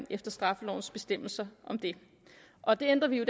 efter straffelovens bestemmelser om det og det ændrer vi jo